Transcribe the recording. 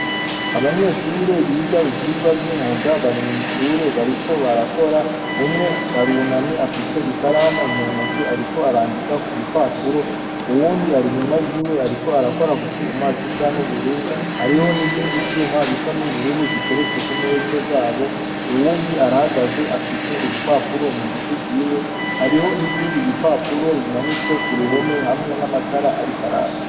Abanyeshure biga ivyigwa vyumwuga ,barimwishure bariko barakora umwe arunamye afise ikaramu muntoki ariko arandika kumpapuro uwundi ari inyuma yiwe ariko arakora kucuma gisa nubururu hariho nibindi vyuma bisa nubururu biteretse kumeza zabo uwundi arahagaze afise urupapuro hariho nibindi bipapuro bimanitse kuruhome namatara Ariko araka.